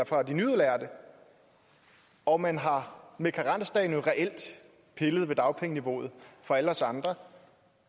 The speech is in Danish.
for de nyudlærte og man har med karensdagen jo reelt pillet ved dagpengeniveauet for alle os andre